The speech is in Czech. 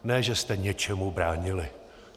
Ne že jste něčemu bránili.